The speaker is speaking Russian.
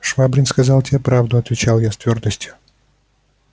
швабрин сказал тебе правду отвечал я с твёрдостью